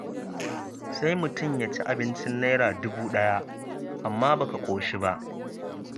Sai mutum ya ci abinci Naira dubu ɗaya, amma baka ƙoshi ba.